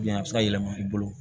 a bɛ se ka yɛlɛma i bolo